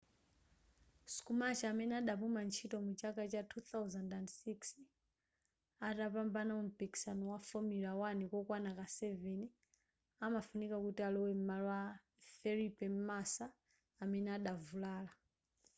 schumacher amene adapuma ntchito mu chaka cha 2006 atapambana mu mpikisano wa formula 1 kokwana ka 7 amafunika kuti alowe m'malo mwa felipe massa amene adavulala